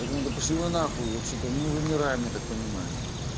я думаю да пошли вы на хуй вообще-то мы вымираем я так понимаю